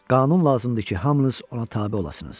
Qanun lazımdır ki, hamınız ona tabe olasınız.